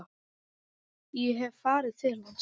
Ég hef farið til hans.